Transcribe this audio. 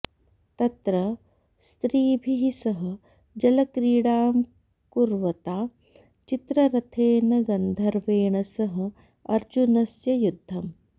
तत्र स्त्रीभिः सह जलक्रीडां कुर्वता चित्ररथेन गन्धर्वेण सह अर्जुनस्य युद्धम्